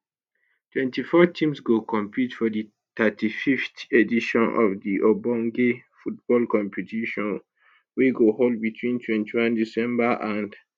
24 teams go compete for di 35th edition of di ogbonge football competition wey go hold between 21 december and